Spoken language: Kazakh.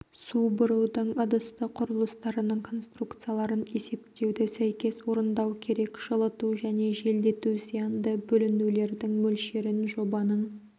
су бұрудың ыдысты құрылыстарының конструкцияларын есептеуді сәйкес орындау керек жылыту және желдету зиянды бөлінулердің мөлшерін жобаның